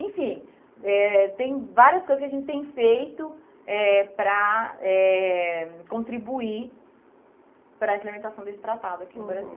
Enfim, eh tem várias coisas que a gente tem feito eh para eh contribuir para a implementação desse tratado aqui no Brasil. Uhum.